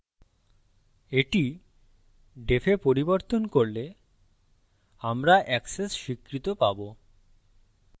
এটি defwe পরিবর্তন করলে আমরা access স্বীকৃত পাবো